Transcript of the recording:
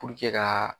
ka